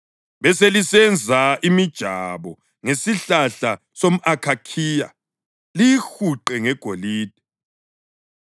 Beselisenza imijabo ngesihlahla somʼakhakhiya liyihuqe ngegolide.